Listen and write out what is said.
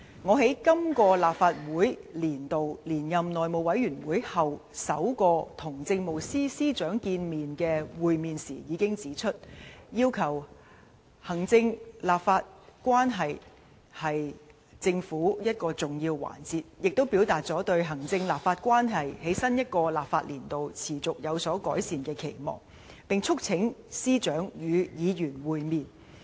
我在今個立法年度連任內務委員會主席後，首次與政務司司長會面時已指出，行政立法關係是政府的一個重要環節，亦表達了對行政立法關係在新一個立法年度持續有所改善的期望，並促請司長與議員會面。